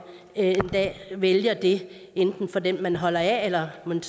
en dag vælger det enten for den man holder af eller man